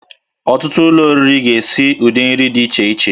Ọtụtụ ụlọ oriri ga-esi ụdị nri dị iche iche